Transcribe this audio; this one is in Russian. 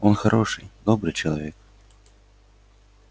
он хороший добрый человек